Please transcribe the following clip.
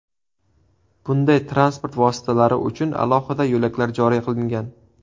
Bunday transport vositalari uchun alohida yo‘laklar joriy qilingan.